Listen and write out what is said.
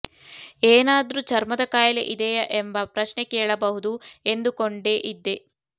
ಏನಾದ್ರೂ ಚರ್ಮದ ಕಾಯಿಲೆ ಇದೆಯಾ ಎಂಬ ಪ್ರಶ್ನೆ ಕೇಳಬಹುದು ಎಂದುಕೊಂಡೇ ಇದ್ದೆ